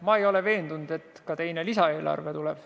Ma ei ole veendunud, et teine lisaeelarve tuleb.